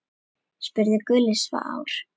spurði Gulli sár.